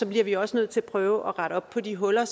bliver vi også nødt til at prøve at rette op på de huller